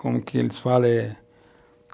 Como que eles falam? eh...